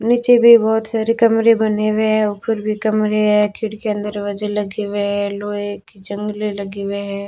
नीचे भी बहुत सारे कमरे बने हुए हैं ऊपर भी कमरे हैं खिड़कीयां दरवाजे लगे हुए हैं लोहे की जंगले लगे हुए हैं।